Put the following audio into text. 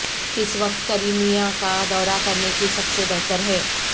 کس وقت کریمیا کا دورہ کرنے کی سب سے بہتر ہے